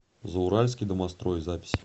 зауральский домострой запись